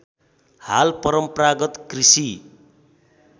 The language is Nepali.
हाल परम्परागत कृषि